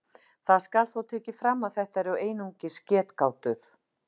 Það skal þó tekið fram að þetta eru einungis getgátur.